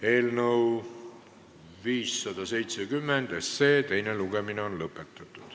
Eelnõu 570 teine lugemine on lõppenud.